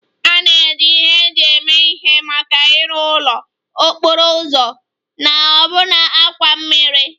A na-eji ihe eji eme ihe maka ịrụ ụlọ, okporo ụzọ na ọbụna àkwà mmiri